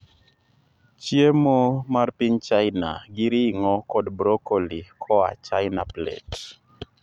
Chiemo mar piny China gi ring'o kod broccoli koa China plate